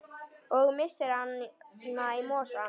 Og missir hana í mosann.